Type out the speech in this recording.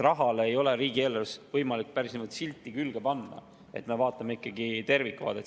Rahale ei ole riigieelarves võimalik silti külge panna, me vaatame ikka tervikvaadet.